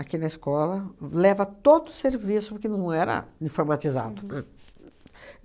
aqui na escola, leva todo o serviço, porque não era informatizado, né?